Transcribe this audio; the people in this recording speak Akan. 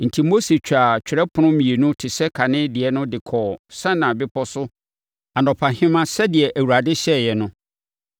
Enti, Mose twaa twerɛ apono mmienu te sɛ kane deɛ no de kɔɔ Sinai Bepɔ so anɔpahema sɛdeɛ Awurade hyɛeɛ no.